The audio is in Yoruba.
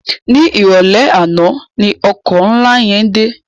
Ni iròlè àná ni òkò nlá yèn dé